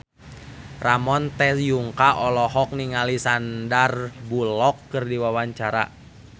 Ramon T. Yungka olohok ningali Sandar Bullock keur diwawancara